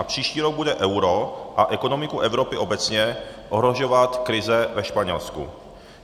A příští rok bude euro a ekonomiku Evropy obecně ohrožovat krize ve Španělsku.